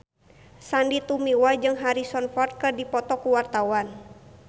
Sandy Tumiwa jeung Harrison Ford keur dipoto ku wartawan